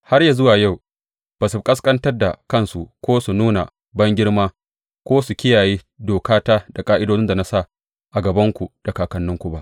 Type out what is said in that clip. Har yă zuwa yau ba su ƙasƙantar da kansu ko su nuna bangirma, ko su kiyaye dokata da ƙa’idodin da na sa a gabanku da kakanninku ba.